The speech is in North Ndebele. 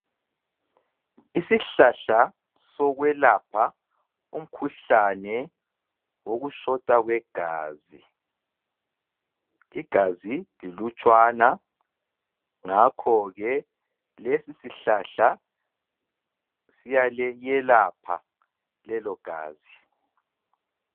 Isihlahla sokwelapha umkhuhlane wokushota kwegazi, igazi lilutshwana ngakho-ke lesisihlahla siyalelapha lelogazi.